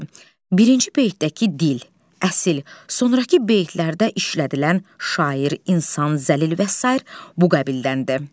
Birinci beytədəki dil, əsil, sonrakı beytlərdə işlədilən şair, insan, zəlil və sair bu qəbildəndir.